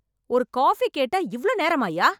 ஒரு காபி கேட்டா இவ்ளோ நேரமாயா?